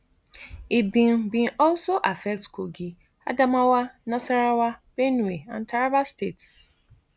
e bin bin also affect kogi adamawa nasarawa benue and taraba states